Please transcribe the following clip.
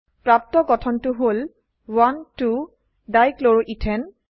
প্ৰাপ্ত গঠনটো হল 12 ডাইক্লোৰোইথেন